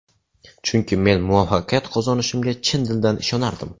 Chunki men muvaffaqiyat qozonishimga chin dildan ishonardim”.